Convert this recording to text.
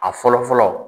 A fɔlɔ fɔlɔ